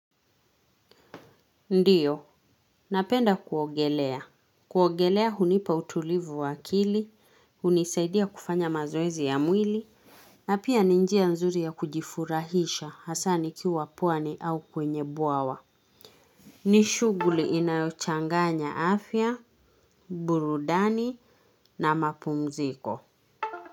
Ndio, napenda kuogelea, kuogelea hunipa utulivu wa akili, hunisaidia kufanya mazoezi ya mwili, na pia ni njia nzuri ya kujifurahisha hasa nikiwa pwani au kwenye bwawa. Ni shughuli inayochanganya afya, burudani na mapumziko.